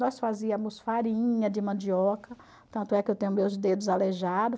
Nós fazíamos farinha de mandioca, tanto é que eu tenho meus dedos aleijados.